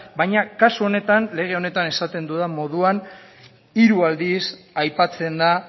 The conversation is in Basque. baina kasu honetan lege honetan esaten dudan moduan hiru aldiz aipatzen da